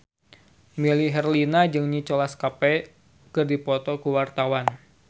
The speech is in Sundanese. Melly Herlina jeung Nicholas Cafe keur dipoto ku wartawan